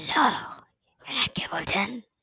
হ্যাঁ কে বলছেন